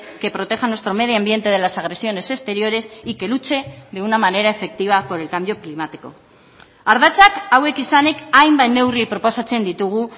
que proteja nuestro medio ambiente de las agresiones exteriores y que luche de una manera efectiva por el cambio climático ardatzak hauek izanik hainbat neurri proposatzen ditugu